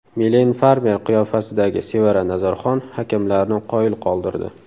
Milen Farmer qiyofasidagi Sevara Nazarxon hakamlarni qoyil qoldirdi.